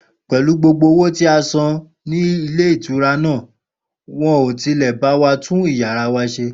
Pè̩lú gbogbo owó tí a san ní ilé ìtura náà, wo̩n ò tilè̩ bá wa tún yàrá wa s̩e